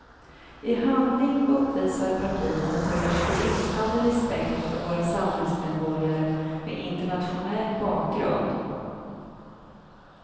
I handling uppvisar partierna prov på bristande respekt för våra samhällsmedborgare med internationell bakgrund.